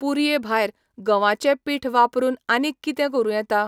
पुरये भायर, गंवाचें पीठवापरुन आनीक कितें करुं येता?